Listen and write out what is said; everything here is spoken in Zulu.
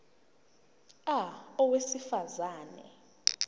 a owesifaz ane